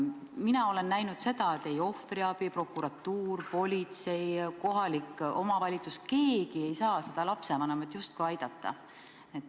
Mina olen näinud seda, et ei ohvriabi, prokuratuur, politsei, kohalik omavalitsus – keegi justkui ei saa seda lapsevanemat aidata.